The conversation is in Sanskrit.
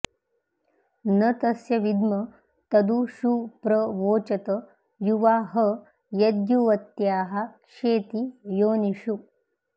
न तस्य विद्म तदु षु प्र वोचत युवा ह यद्युवत्याः क्षेति योनिषु